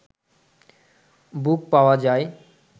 বুক পাওয়া যায়